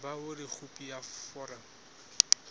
ba hore khopi ya foromo